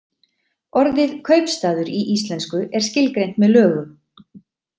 Orðið kaupstaður í íslensku er skilgreint með lögum.